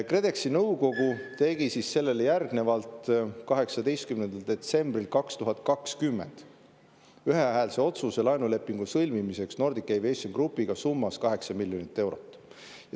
KredExi nõukogu tegi siis sellele järgnevalt 18. detsembril 2020 ühehäälse otsuse laenulepingu sõlmimiseks Nordic Aviation Groupiga summas 8 miljonit eurot.